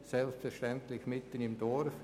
Selbstverständlich mitten im Dorf.